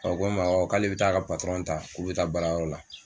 ko n ma k'ale bɛ taa a ka k'u bɛ taa baara yɔrɔ la.